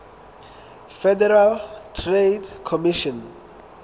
federal trade commission